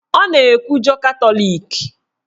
Ọ na-ekwujọ Katọlik